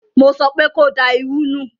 Mo sọpé ko da irú nù!